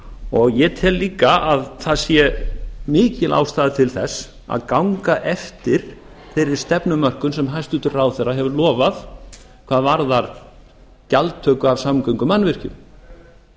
og ég tel líka að það sé mikil ástæða til þess að ganga eftir þeirri stefnumörkun sem hæstvirtur ráðherra hefur lofað hvað varðar gjaldtöku af samgöngumannvirkjum